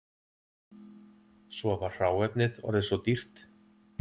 Svo var hráefnið orðið svo dýrt